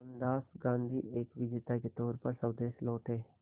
मोहनदास गांधी एक विजेता के तौर पर स्वदेश लौटे